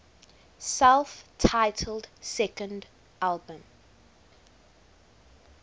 self titled second album